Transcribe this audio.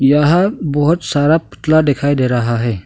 यहां बहुत सारा पुतला दिखाई दे रहा है।